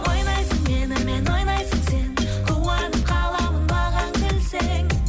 ойнайсың менімен ойнайсың сен қуанып қаламын маған күлсең